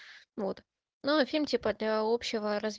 вот ну фильм типа общий